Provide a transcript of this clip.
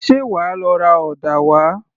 Ṣé wàá lọ ra ọ̀dà wá?